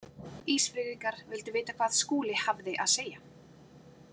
Ísfirðingar vildu vita hvað Skúli hafði að segja.